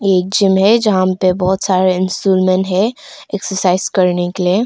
एक जिम है जहा पे बहोत सारे अनसुरमेन है एक्सरसाइज करने के लिए।